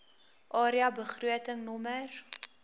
area begroting nr